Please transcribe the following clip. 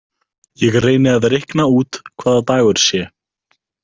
Ég reyni að reikna út hvaða dagur sé.